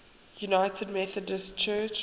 united methodist church